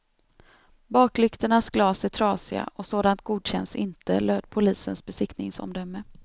Baklyktornas glas är trasiga och sådant godkänns inte, löd polisens besiktningsomdöme.